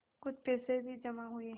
कुछ पैसे भी जमा हुए